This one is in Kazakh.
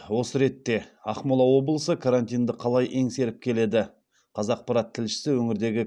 осы ретте ақмола облысы карантинді қалай еңсеріп келеді қазақпарат тілшісі өңірдегі